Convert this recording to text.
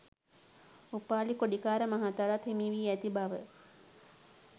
උපාලි කොඩිකාර මහතාටත් හිමි වී ඇති බව